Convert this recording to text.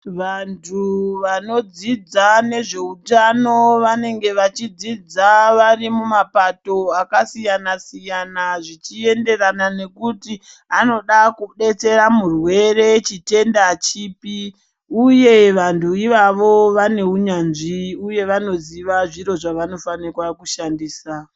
Vantu vanodzidza nezveutano vanenge bachidzidza varimumapato akasiyana siyana zvichienderana nekuti anoda kudetsera murwere chitenda chipi uye vantu ivavo vane unyanzvi uye vanoziva zvinhu zvavanofanirwa kushandisa.